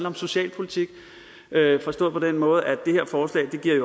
om socialpolitik forstået på den måde at det her forslag